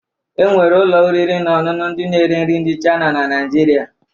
E nwere ụlọ oriri na ọṅụṅụ ndị na-ere nri ndị Chayịna na Naịjirịa